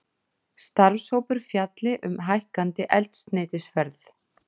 Starfshópur fjalli um hækkandi eldsneytisverð